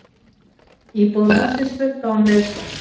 Íbúar hússins sluppu án meiðsla.